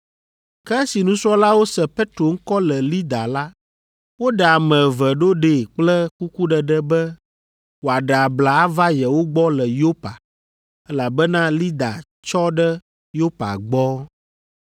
Ke esi nusrɔ̃lawo se Petro ŋkɔ le Lida la, woɖe ame eve ɖo ɖee kple kukuɖeɖe be wòaɖe abla ava yewo gbɔ le Yopa, elabena Lida tsɔ ɖe Yopa gbɔ.